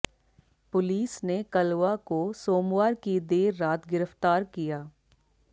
police ने कलवा को सोमवार की देर रात गिरफ्तार किया